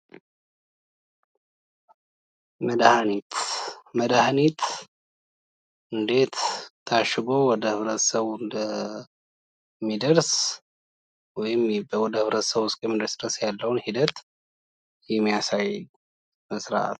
ድሀኒት መድሀኒት እንዴት ታሽጎ ወደማህበረሰቡ እንደሚደርስ ወይም ወደህብረተሰቡ እስከሚደርስ ድረስ ያለውን ሂደት የሚያሳይ ነው።